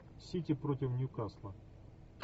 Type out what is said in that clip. сити против ньюкасла